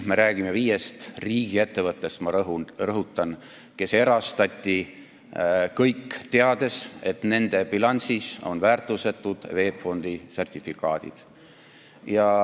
Me räägime praegu viiest riigiettevõttest – ma rõhutan seda –, kes erastati kõik, teades, et nende bilansis on väärtusetud VEB Fondi sertifikaadid.